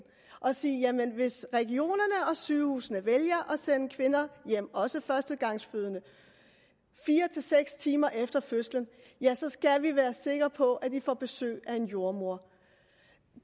og sige jamen hvis regionerne og sygehusene vælger at sende kvinderne hjem også førstegangsfødende fire seks timer efter fødslen så skal vi være sikre på at de får besøg af en jordemoder